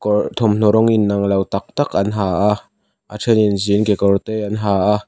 kawr thawmhnaw rawng inang lo tak tak an ha a a thenin jean kekawr te an ha a.